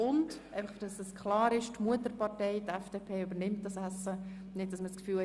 Damit es klar ist: Die Mutterpartei, die FDP, übernimmt die Kosten für dieses Essen.